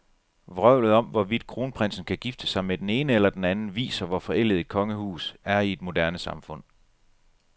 Vrøvlet om, hvorvidt kronprinsen kan gifte sig med den ene eller den anden, viser, hvor forældet et kongehus er i et moderne samfund.